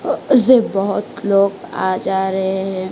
अ से बहोत लोग आ जा रहे है।